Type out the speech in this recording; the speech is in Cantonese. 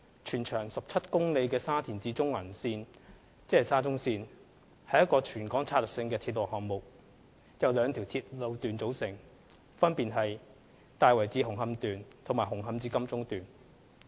全長17公里的沙田至中環線是一個全港策略性的鐵路項目，由兩條路段組成，分別是大圍至紅磡段和紅磡至金鐘段。